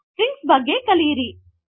6 strings ಬಗ್ಗೆ ಕಲಿಯಿರಿ